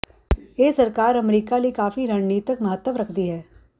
ਇਹ ਸਰਕਾਰ ਅਮਰੀਕਾ ਲਈ ਕਾਫ਼ੀ ਰਣਨੀਤਕ ਮਹੱਤਵ ਰੱਖਦੀ ਹੈ